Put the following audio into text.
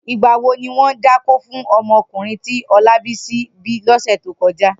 Nigbà wó niwọn dákó fún ọmọ ọkunrin ti Olabisi bi lọsẹ tókọjá?